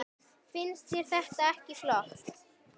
Finnst þér þetta ekki flott?